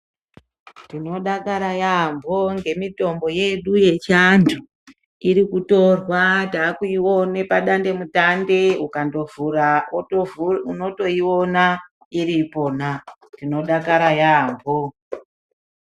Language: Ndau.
Tinodakara yambo nemitombo yedu yechiantu, iri kutorwa taakuione padatemutande ungandotovhura unotoiona iripona, tinodakara yeyambo.